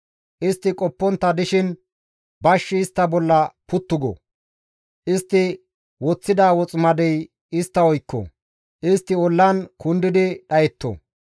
Istti qoppontta dishin bashshi istta bolla puttu go; istti woththida woximadey istta oykko; istti ollan kundi dhayetto.